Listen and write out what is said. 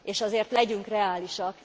És azért legyünk reálisak!